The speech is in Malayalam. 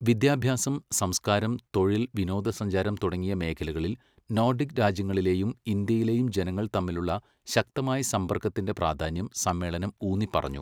വിദ്യാഭ്യാസം, സംസ്കാരം, തൊഴിൽ, വിനോദസഞ്ചാരം തുടങ്ങിയ മേഖലകളിൽ നോഡിക് രാജ്യങ്ങളിലേയും ഇന്ത്യയിലെയും ജനങ്ങൾ തമ്മിലുള്ള ശക്തമായ സമ്പർക്കത്തിൻ്റെ പ്രാധാന്യം സമ്മേളനം ഊന്നിപ്പറഞ്ഞു.